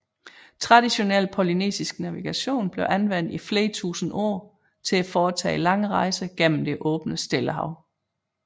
Traditionel polynesisk navigation blev anvendt i flere tusinde år til at foretage lange rejser gennem det åbne Stillehav